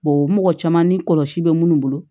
mɔgɔ caman ni kɔlɔsi bɛ munnu bolo